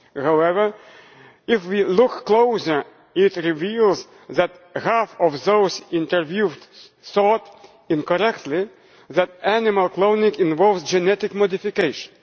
However, if we look closer, it reveals that half of those interviewed thought incorrectly that animal cloning involved genetic modification.